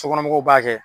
Sokɔnɔmɔgɔw b'a kɛ